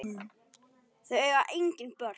Þau eiga engin börn.